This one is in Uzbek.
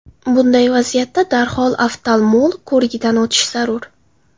Bunday vaziyatda darhol oftalmolog ko‘rigidan o‘tish zarur.